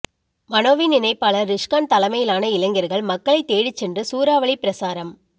மனோவின் இணைப்பாளர் றிஸ்கான் தலைமையிலானஇளைஞர்கள் மக்களை தேடி சென்று சூறாவளி பிரசாரம்